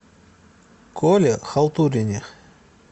коле халтурине